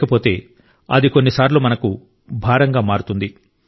లేకపోతే అది కొన్నిసార్లు మనకు భారంగా మారుతుంది